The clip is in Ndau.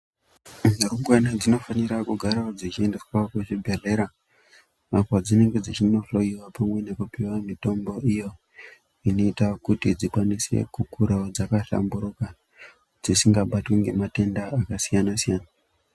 Rumbwana dzinofana kugarawo dzichiendeswa kuzvibhedhlera ,apo dzinenge dzichinohloiwa pamwe nekupuwa mitombo iyo, inoita kuti dzikwanise kukurawo dzakahlamburuka, dzisingabatwi ngematenda akasiyana-siyana.